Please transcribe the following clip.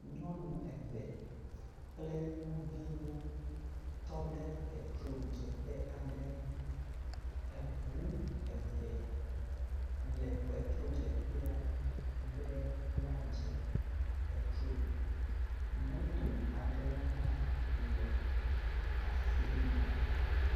Nyɔnu eve kple nyɔnuviwo tɔ ɖe ŋudzeƒe aɖe. Eŋu eve le petrodzeƒea be woadze petro. Moto aɖewo hã le afi ma.